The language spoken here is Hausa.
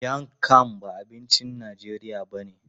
Miang kham ba abincin Najeriya ba ne.